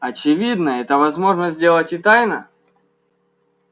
очевидно это возможно сделать и тайно